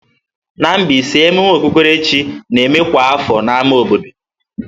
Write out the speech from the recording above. Na Mbaise, emume okpukpere chi na-eme kwa afọ n'ámá obodo.